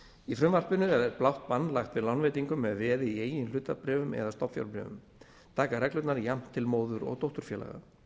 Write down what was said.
í frumvarpinu er blátt bann lagt við lánveitingum með veði í eigin hlutabréfum eða stofnfjárbréfum taka reglurnar jafnt til móður og dótturfélaga